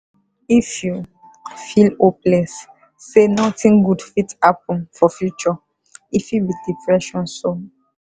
if you feel hopeless say nothing good fit happen for future e fit be depression so.